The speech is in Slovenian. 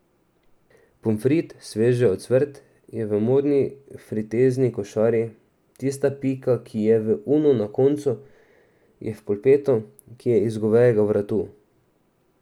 Pomfrit, sveže ocvrt, je v modni fritezni košari, tista pika, ki je v Unu na koncu, je v polpetu, ki je iz govejega vratu.